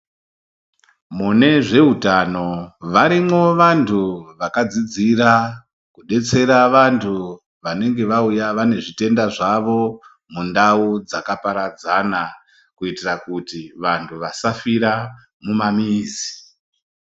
Mune zveutano varimwo vantu vakadzidzira kudetsera vantu vanenge vauya vane zvitenda zvawo mundau dzakaparadzana kuitira kuti vantu vasafira mumamizi.